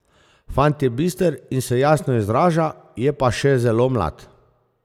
Fant je bister in se jasno izraža, je pa še zelo mlad.